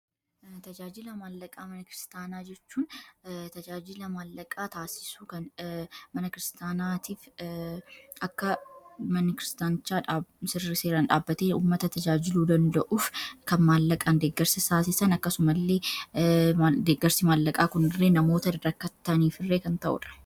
Tajaajila maallaqaa mana kiristaanaa jechuun tajaajila maallaqaa taasisuu kn mana kiristaanatiif akka manikiristaanchaa sirri seeraan dhaabbate ummata tajaajiluu danda'uuf kan maallaqaan deeggarsi saasesan akkasumalee deeggarsi maallaqaa kunirree namoota drakkattanii firree kan ta'ura.